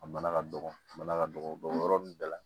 A bana ka dɔgɔ a bana ka dɔgɔ o yɔrɔ ninnu bɛɛ la